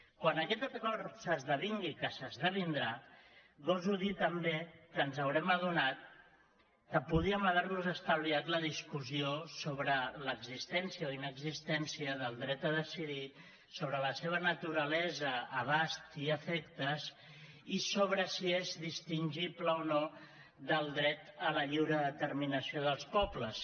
quan aquest acord s’esdevingui que s’esdevindrà goso dir també que ens haurem adonat que podríem haver nos estalviat la discussió sobre l’existència o inexistència del dret a decidir sobre la seva naturalesa abast i efectes i sobre si és distingible o no del dret a la lliure determinació dels pobles